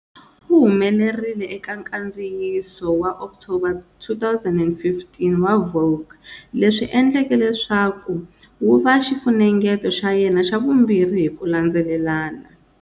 U humelerile eka nkandziyiso wa October 2015 wa"Vogue", leswi endleke leswaku wu va xifunengeto xa yena xa vumbirhi hi ku landzelelana.